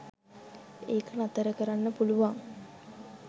ඒක නතර කරන්න පුලුවන්